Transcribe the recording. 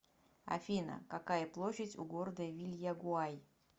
афина какая площадь у города вильягуай